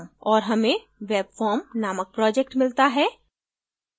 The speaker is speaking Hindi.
और हमें webform named project मिलता है